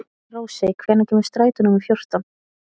Rósey, hvenær kemur strætó númer fjórtán?